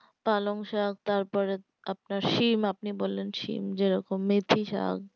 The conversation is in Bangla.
পালংশাক তার পরে আপনার সিম আপনি বললেন সিম যে রকম মেথি শাক